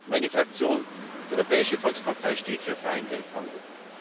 Meine Fraktion, die Europäische Volkspartei, steht für freien Welthandel.